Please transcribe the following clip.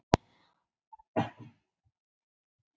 Lög um undirbúningsfélag saltvinnslu á